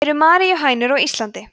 eru maríuhænur á íslandi